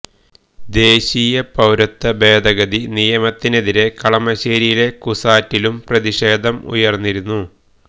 ദേശീയ പൌരത്വ ഭേദഗതി നിയമത്തിനെതിരെ കളമശ്ശേരിയിലെ കുസാറ്റിലും പ്രതിഷേധം ഉയര്ന്നിരുന്നു